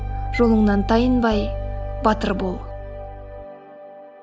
жолыңнан тайынбай батыр бол